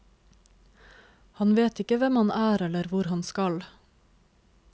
Han vet ikke hvem han er eller hvor han skal.